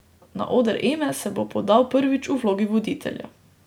Na oder Eme se bo podal prvič v vlogi voditelja.